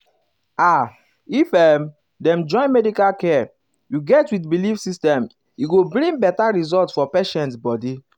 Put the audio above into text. ah if um dem join medical care you get with belief system e go bring um better result for patient body.